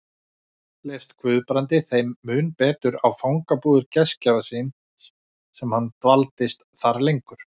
Leist Guðbrandi þeim mun betur á fangabúðir gestgjafa síns sem hann dvaldist þar lengur